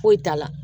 Foyi t'a la